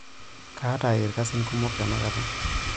Kaata ilkasin kumok tenakata.